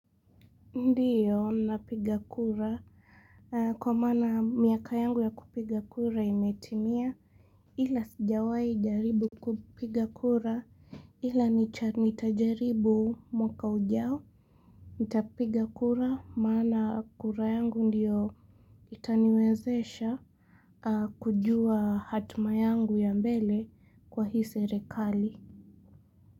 Ndiyo napiga kura kwa maana miaka yangu ya kupiga kura imetimia ila sijawai jaribu kupiga kura ila nitajaribu mwaka ujao Nitapiga kura maana kura yangu ndiyo itaniwezesha kujua hatima yangu ya mbele kwa hisi serekali.